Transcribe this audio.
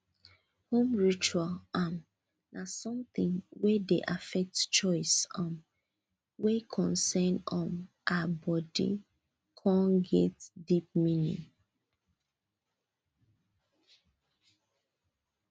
home ritual um na something wey dey affect choice um wey concern um our body con get deep meaning